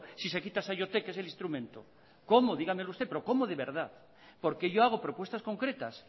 si se quita saiotek que es el instrumento cómo dígamelo usted pero cómo de verdad porque yo hago propuestas concretas